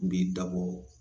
N b'i dabɔ